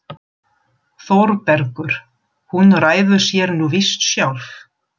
ÞÓRBERGUR: Hún ræður sér nú víst sjálf.